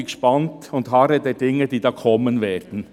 Ich bin gespannt und harre der Dinge, die da kommen werden.